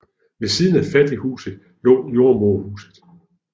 Ved siden af fattighuset lå jordemoderhuset